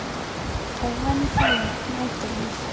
Óvenju fámennt næturlíf